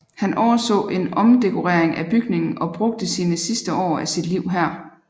Han overså en omdekorering af bygningen og brugte sine sidste år af sit liv her